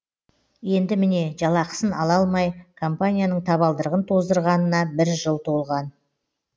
енді міне жалақысын ала алмай компанияның табалдырығын тоздырғанына бір жыл толған